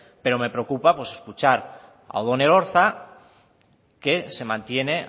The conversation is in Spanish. pero me preocupa escuchar a odón elorza que se mantiene